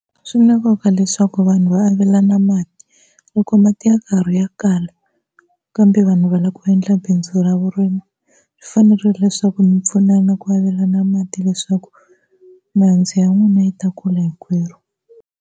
Swi na nkoka leswaku vanhu va avelana mati loko mati ya karhi ya kala, kambe vanhu va lava ku endla bindzu ra vurimi, swi fanerile leswaku mi pfunana ku avelana mati leswaku mihandzu ya n'wina yi ta kula hinkwerhu.